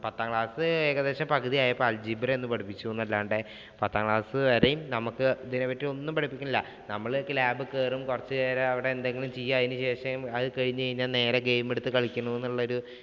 പത്താം class ഏകദേശം പകുതി ആയപ്പോൾ algebra ഒന്ന് പഠിപ്പിച്ചു എന്നല്ലാണ്ട് പത്താം class വരെയും നമുക്ക് ഇതിനെപ്പറ്റി ഒന്നും പഠിപ്പിക്കണില്ല. നമ്മളൊക്കെ lab ഇല്‍ കയറും. കൊറച്ചുനേരം അവിടെ എന്തെങ്കിലും ചെയ്യും. അതിന് ശേഷം അത് കഴിഞ്ഞു കഴിഞ്ഞാൽ നേരെ game എടുത്ത് കളിക്കളം എന്നുള്ള ഒരു